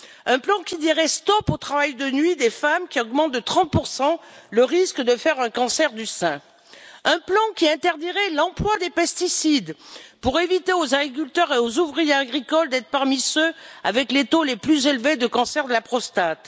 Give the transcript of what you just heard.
Un plan qui dirait stop au travail de nuit des femmes, qui augmente de 30 le risque de faire un cancer du sein. un plan qui interdirait l'emploi des pesticides pour éviter aux agriculteurs et aux ouvriers agricoles d'être parmi ceux avec les taux les plus élevés de cancer de la prostate.